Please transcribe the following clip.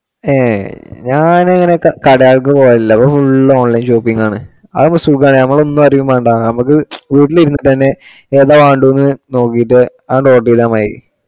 Hey ഞാൻ അങ്ങിനെ കടകൾക്ക് പോകാറില്ല. നമ്മള് ഫുൾ ഓൺലൈൻ ഷോപ്പിംഗ് ആണ് അതാകുമ്പോ സുഖാണ്. നമ്മള് ഒന്നും അറിയും വേണ്ട. നമക്ക് വീട്ടിൽ ഇരുന്നിട്ട് തന്നെ ഏതാ വേണ്ടുന്ന് നോക്കിയിട്ടു അത് note ചെയ്താ മതി.